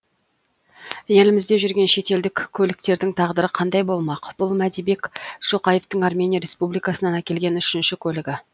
елімізде жүрген шетелдік көліктердің тағдыры қандай болмақ бұл мәдибек шоқаевтың армения республикасынан әкелген үшінші көлігі